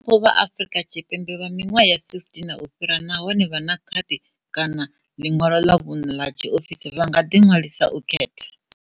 Vhadzulapo vha Afurika Tshipembe vha miṅwaha ya 16 na u fhira nahone vha na khadi kana ḽiṅwalo ḽa vhuṋe ḽa tshiofisi vha nga ḓiṅwalisela u khetha.